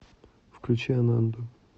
включи ананду